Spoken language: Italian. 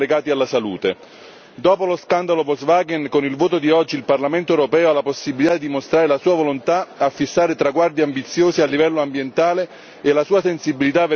Dopo lo scandalo Volkswagen, con il voto di oggi il Parlamento europeo ha la possibilità di mostrare la sua volontà di fissare traguardi ambiziosi a livello ambientale e la sua sensibilità verso la salute dei cittadini.